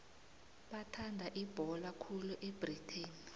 bathanda ibhola khulu ebritani